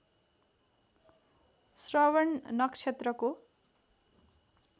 श्रवण नक्षत्रको